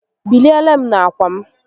Biliere m n'akwa m